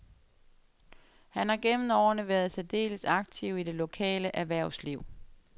Han har gennem årene været særdeles aktiv i det lokale erhvervsliv.